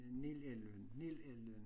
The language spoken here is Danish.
Nel elven nel elven